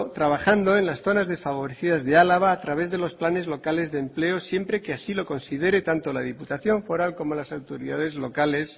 trabajando en las zonas desfavorecidas de álava a través de los planes locales de empleo siempre que así lo considere tanto la diputación foral como las autoridades locales